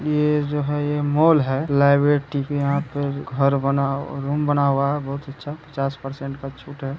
ये जो है ये मॉल है लाईबर्टी का यहाँ पर घर बना रूम बना हुआ है बहोत अच्छा पचास परसेन्ट का छुट है ।